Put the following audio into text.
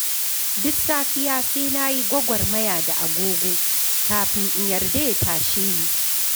Duk safiya, sai na yi gwagwarmaya da agogo kafin in yarda in tashi.